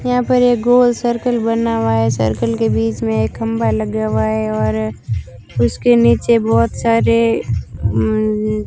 यहां पर एक गोल सर्कल बना हुआ है सर्कल के बीच में एक खंबा लगा हुआ है और उसके नीचे बहोत सारे अं --